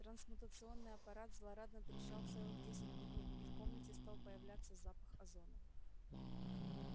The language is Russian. трансмутационный аппарат злорадно трещал целых десять минут и в комнате стал появляться запах озона